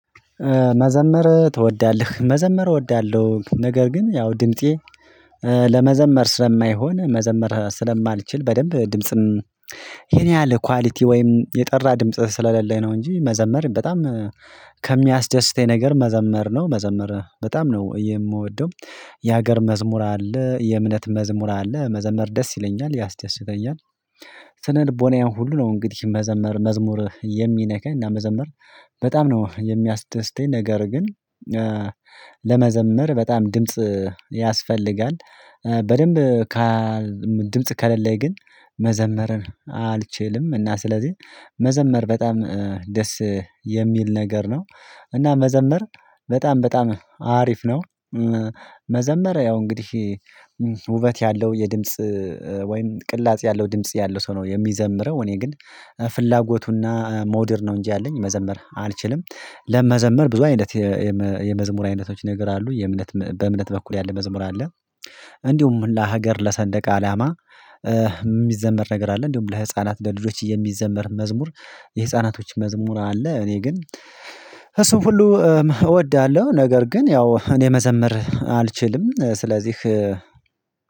መዘመር ትወዳለህ መዘመር እወዳለሁ ነገር ግን ያው ድምጤ ለመዘመር ስለማይሆን መዘመር ስለማልችል በደንብ ድምጽም ያን ያህል ኳሊቲ ወይም የጠራ ድምጽ ስለሌለ ነው እንጂ መዘመር በጣም ከሚያስደስተኝ ነገር መዘመር ነው መዘመር በጣም ነው የምወደው የሀገር መዝሙር አለ የእምነት መዝሙር አለ መዘመር ደስ ይለኛል ያስደስተኛል። ስነ ልቦናዬን ሁሉ ነው እንግዲህ መዘመር መዝሙር የሚነካኝ እና መዘመር በጣም ነው የሚያስደስተኝ ነገር ግን ለመዘምር በጣም ድምጽ ያስፈልጋል። በደንብ ከ ድምጽ ከሌለኝ ግን መዘመርን አልችልም እና ስለዚህ መዘመር በጣም ደስ የሚል ነገር ነው እና መዘመር በጣም በጣም አሪፍ ነው። መዘመር ያው እንግዲህ ውበት ያለው የድምጽ ወይም ቅላጼ ያለው ድምጽ ያለው ሰው ነው የሚዘምረው እኔ ግን ፍላጎቱና መዉድ ነው እንጂ ያለኝ መዘምር አልችልም። ለመዘምር ብዙ አይነት የመዝሙር አይነቶች ነገር አሉ የእምነት በእምነት በኩል ያለ መዝሙር አለ እንዲሁም ለሀገር ለሰንደቅ አላማ የሚዘመር ነገር አለ፣ እንዲሁም ለህፃናት ደረጃዎች የሚዘመር መዝሙር የህፃናቶች መዝሙር አለ፣ እኔ ግን እሱን ሁሉ እወዳለሁ ነገር ግን ያው እኔ መዘምር አልችልም ስለዚህ